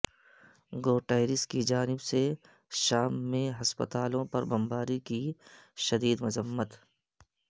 Guterres کی جانب سے شام میں ہسپتالوں پر بم باری کی شدید مذمت